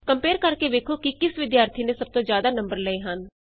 compare ਕਰਕੇ ਵੇਖੋ ਕਿ ਕਿਸ ਵਿਦਿਆਰਥੀ ਨੇ ਸਭ ਤੋਂ ਜਿਆਦਾ ਨੰਬਰ ਲਏ ਹਨ